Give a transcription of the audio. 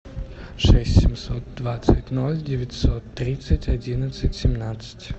шесть семьсот двадцать ноль девятьсот тридцать одиннадцать семнадцать